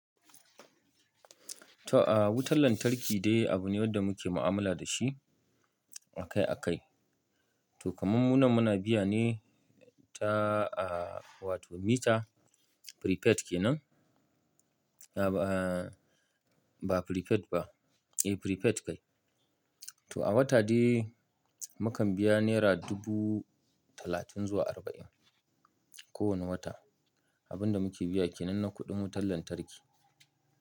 To, a wutan lantarki dai abu ne wanda muke mu'amala da shi a kai a kai. To, kamammunan muna biya ne ta, aa wato metre prepaid kenan. A ba prepaid ba, eh prepaid kai. To, a wata dai mukan biya naira dubu talatin zuwa arba'in, kowane wata. Abin da muke biya kenan na kuɗin wutan lantarki.